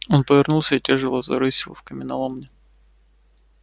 он повернулся и тяжело зарысил в каменоломню